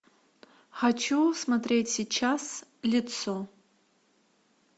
хочу смотреть сейчас лицо